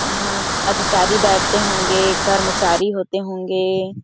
यहाँ अधिकारी बैठते होंगे कर्मचारी होते होंगे।